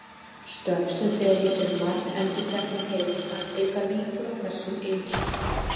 Störf sem fela í sér margendurteknar hreyfingar auka líkur á þessum einkennum.